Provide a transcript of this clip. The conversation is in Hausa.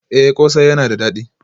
Eh kose yana da dadi